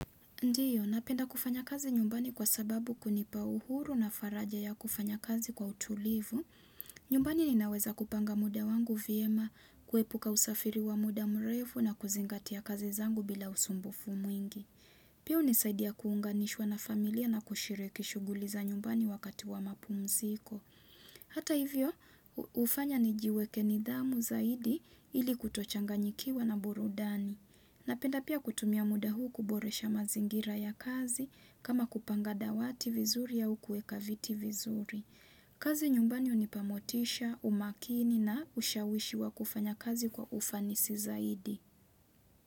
Ndiyo, napenda kufanya kazi nyumbani kwa sababu, hunipa uhuru na faraja ya kufanya kazi kwa utulivu. Nyumbani ninaweza kupanga muda wangu vyema, kuepuka usafiri wa muda mrefu na kuzingatia kazi zangu bila usumbufu mwingi. Pia, hunisaidia kuunganishwa na familia na kushiriki shughuli za nyumbani wakati wa mapumziko. Hata hivyo, hufanya nijiweke nidhamu zaidi ili kutochanganyikiwa na burudani. Napenda pia kutumia muda huu kuboresha mazingira ya kazi, kama kupanga dawati vizuri au kuweka viti vizuri. Kazi nyumbani hunipa motisha, umakini na ushawishi wa kufanya kazi kwa ufanisi zaidi.